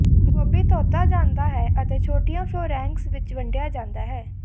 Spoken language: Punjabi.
ਗੋਭੀ ਧੋਤਾ ਜਾਂਦਾ ਹੈ ਅਤੇ ਛੋਟੀਆਂ ਫਲੋਰੈਂਕੇਂਜ ਵਿੱਚ ਵੰਡਿਆ ਜਾਂਦਾ ਹੈ